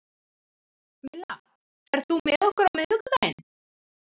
Milla, ferð þú með okkur á miðvikudaginn?